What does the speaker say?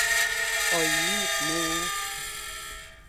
Oinet neoo.